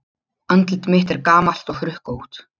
Andlit mitt er gamalt og hrukkótt.